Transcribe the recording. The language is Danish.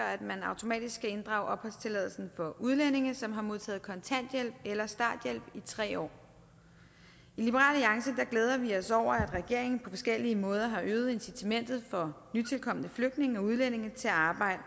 at man automatisk skal inddrage opholdstilladelsen for udlændinge som har modtaget kontanthjælp eller starthjælp i tre år i liberal alliance glæder vi os over at regeringen på forskellige måder har øget incitamentet for nytilkomne flygtninge og udlændinge til at arbejde